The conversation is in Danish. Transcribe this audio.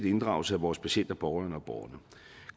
inddragelse af vores patienter pårørende og borgerne